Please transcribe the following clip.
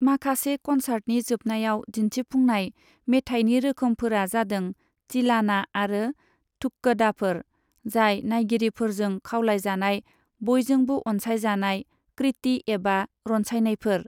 माखासे कनसार्टनि जोबनायाव दिन्थिफुंनाय मेथायनि रोखोमफोरा जादों तिलाना आरो ठुक्कडाफोर, जाय नायगिरिफोरजों खावलायजानाय बयजोंबो अनसायजानाय कृति एबा रनसायनायफोर।